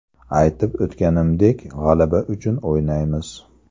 Aytib o‘tganimdek, g‘alaba uchun o‘ynaymiz.